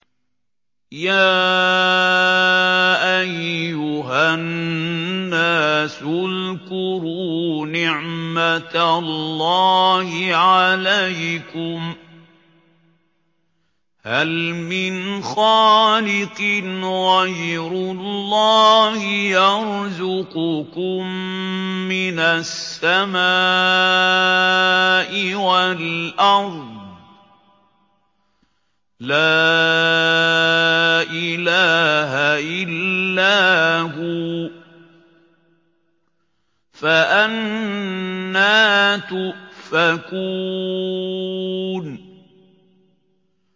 يَا أَيُّهَا النَّاسُ اذْكُرُوا نِعْمَتَ اللَّهِ عَلَيْكُمْ ۚ هَلْ مِنْ خَالِقٍ غَيْرُ اللَّهِ يَرْزُقُكُم مِّنَ السَّمَاءِ وَالْأَرْضِ ۚ لَا إِلَٰهَ إِلَّا هُوَ ۖ فَأَنَّىٰ تُؤْفَكُونَ